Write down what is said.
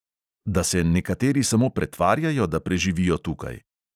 Da se nekateri samo pretvarjajo, da preživijo tukaj?